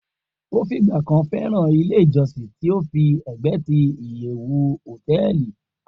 o figba kan feran Ile ijosi ti o fi egbee ti iyewu hoteeli